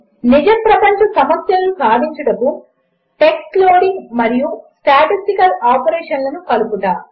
4 నిజ ప్రపంచ సమస్యలను సాధించుటకు టెక్స్ట్ లోడింగ్ మరియు స్టాటిస్టికల్ ఆపరేషన్లను కలుపుట